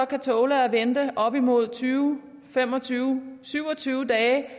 kan tåle at vente op imod tyve fem og tyve syv og tyve dage